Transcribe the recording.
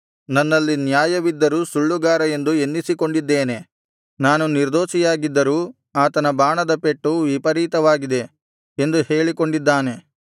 ನನ್ನಲ್ಲಿ ನ್ಯಾಯವಿದ್ದರೂ ಸುಳ್ಳುಗಾರ ಎಂದು ಎನ್ನಿಸಿಕೊಂಡಿದ್ದೇನೆ ನಾನು ನಿರ್ದೋಷಿಯಾಗಿದ್ದರೂ ಆತನ ಬಾಣದ ಪೆಟ್ಟು ವಿಪರೀತವಾಗಿದೆ ಎಂದು ಹೇಳಿಕೊಂಡಿದ್ದಾನೆ